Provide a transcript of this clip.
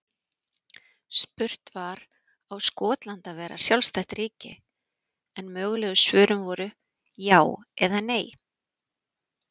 Spurt var á Skotland að vera sjálfstætt ríki? en mögulegu svörin voru já eða nei.